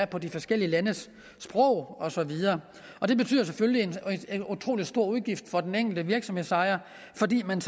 på de forskellige landes sprog og så videre det betyder selvfølgelig en utrolig stor udgift for den enkelte virksomhedsejer fordi man